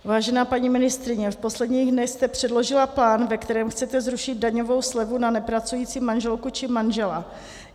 Vážená paní ministryně, v posledních dnech jste předložila plán, ve kterém chcete zrušit daňovou slevu na nepracující manželku či manžela.